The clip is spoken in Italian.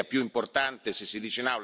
Io in quei giorni sarò ad Assisi.